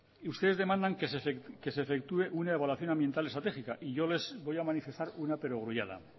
ustedes demandan que se efectúe una evaluación ambiental estratégica y yo les voy a manifestar una perogrullada